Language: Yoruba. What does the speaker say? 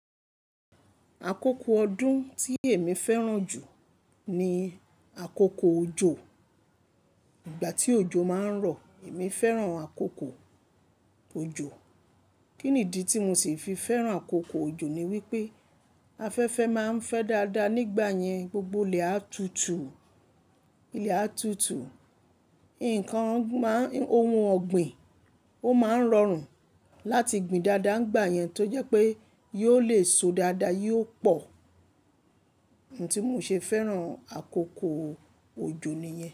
Àkókò ọdún tí èmi fẹ́ràn jù ní àkókò òjò. Ìgbà tí òjò máa ń rọ̀, èmi fẹ́ràn àkókò òjò. Kíni ìdí tí mo ṣe fi fẹ́ràn àkókò òjò ni wípé, afẹ́fẹ́ máa ń fẹ́ dáadáa nígbà yẹn, gbogbo ilẹ̀ á tutù, ilẹ̀ á tutù. Ǹnkan má ń, ohun ọ̀gbìn ó máa ń rọrùn láti gbin dáadáa n gbà yẹn tó jẹ́ pé yóò lè so dáadáa, yóò pọ̀. Ohun tí mo ṣe fẹ́ràn àkókò òjò nìyẹn.